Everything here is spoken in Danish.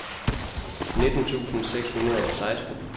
nitten tusind seks hundrede og seksten